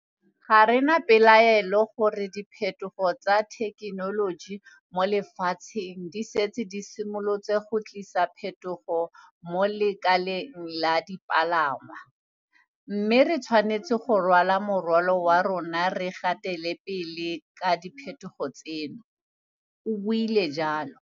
Ga re na pelaelo ya gore diphetogo tsa thekenoloji mo lefatsheng di setse di simolotse go tlisa diphetogo mo lekaleng la dipalangwa, mme re tshwanetse go rwala morwalo wa rona re gatele pele ka diphetogo tseno, o buile jalo.